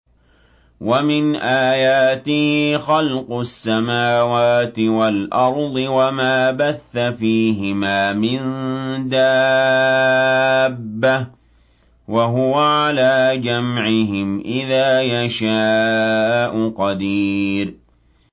وَمِنْ آيَاتِهِ خَلْقُ السَّمَاوَاتِ وَالْأَرْضِ وَمَا بَثَّ فِيهِمَا مِن دَابَّةٍ ۚ وَهُوَ عَلَىٰ جَمْعِهِمْ إِذَا يَشَاءُ قَدِيرٌ